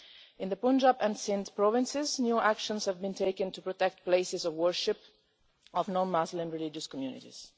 In the Punjab and Sindh provinces new actions have been taken to protect places of worship of non-Muslim religious communities.